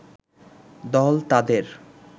দল তাদের